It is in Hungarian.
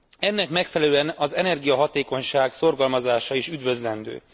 Ennek megfelelően az energiahatékonyság szorgalmazása is üdvözlendő.